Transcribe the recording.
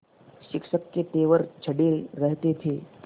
शिक्षक के तेवर चढ़े रहते थे